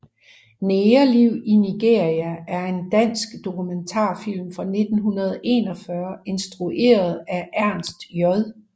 Negerliv i Nigeria er en dansk dokumentarfilm fra 1941 instrueret af Ernst J